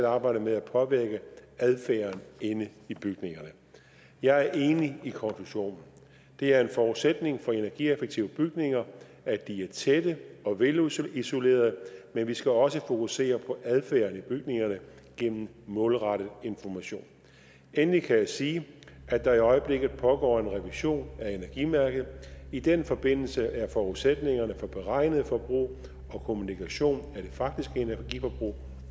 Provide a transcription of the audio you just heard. arbejdet med at påvirke adfærden inde i bygningerne jeg er enig i konklusionen det er en forudsætning for energieffektive bygninger at de er tætte og velisolerede men vi skal også fokusere på adfærden i bygningerne gennem målrettet information endelig kan jeg sige at der i øjeblikket pågår en revision af energimærket i den forbindelse er forudsætningerne for beregnet forbrug og kommunikation af det faktiske energiforbrug